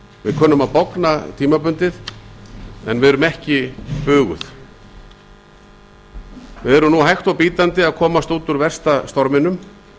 við kunnum að bogna tímabundið en buguð erum við ekki við erum nú hægt og bítandi að komast út úr versta storminum